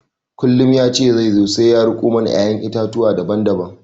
Kullum ya ce zai zo sai ya riko mana ƴaƴan itatuwa daban daban